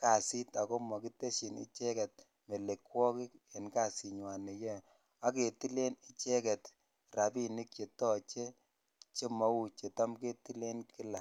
kasit akomokitesyin icheket melekwokik en kasinywan neyoe ak ketilen icheket rabink chetoche chemouu chetam ketilen kila.